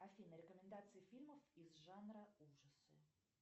афина рекомендации фильмов из жанра ужасы